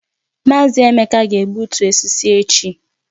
Mazi Emeka ga-egbutu osisi echi